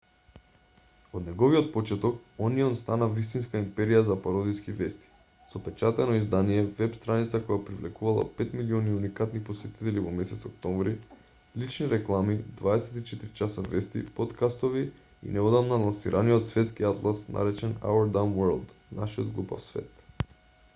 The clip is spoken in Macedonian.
од неговиот почеток онион стана вистинска империја за пародиски вести со печатено издание веб-страница која привлекувала 5.000.000 уникатни посетители во месец октомври лични реклами 24 часа вести поткастови и неодамна лансираниот светски атлас наречен our dumb world нашиот глупав свет